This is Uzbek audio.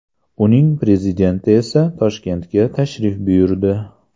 Uning prezidenti esa Toshkentga tashrif buyurdi.